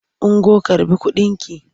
Ungo karɓi kudinki!